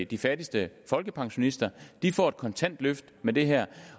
de fattigste folkepensionister de får et kontant løft med det her